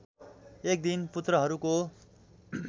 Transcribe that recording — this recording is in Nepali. एक दिन पुत्रहरूको